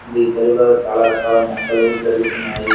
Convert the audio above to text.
And ఈ చెరువులో చాలా రకాలు మొక్కలు పెరుగుతున్నాయి.